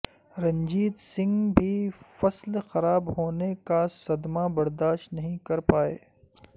رنجیت سنگھ بھی فصل خراب ہونے کا صدمہ برداشت نہیں کر پائے